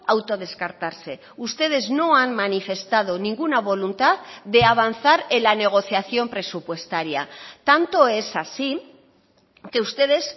autodescartarse ustedes no han manifestado ninguna voluntad de avanzar en la negociación presupuestaria tanto es así que ustedes